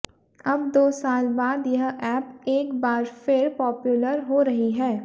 अब दो साल बाद यह ऐप एक बार फिर पॉप्युलर हो रही है